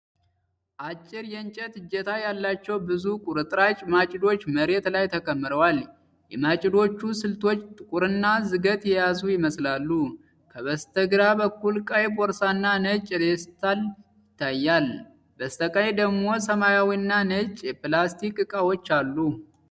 አጭር የእንጨት እጀታ ያላቸው ብዙ ቁርጥራጭ ማጭዶች መሬት ላይ ተከምረዋል። የማጭዶቹ ስለቶች ጥቁርና ዝገት የያዙ ይመስላሉ። ከበስተግራ በኩል ቀይ ቦርሳና ነጭ ፌስታል ይታያል። በስተቀኝ ደግሞ ሰማያዊና ነጭ የፕላስቲክ ዕቃዎች አሉ።